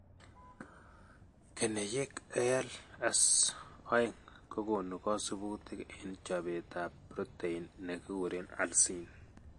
Keneyeek ALS2 kokoonu kasubutik en chobetab protein ne kikuren alsin.